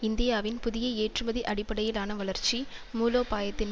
இந்தியாவின் புதிய ஏற்றுமதி அடிப்படையிலான வளர்ச்சி மூலோபாயத்தின்